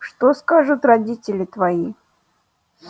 что скажут родители твои